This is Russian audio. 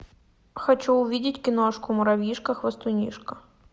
хочу увидеть киношку муравьишка хвастунишка